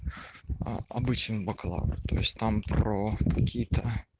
а обычно бакалавра то есть там про какие-то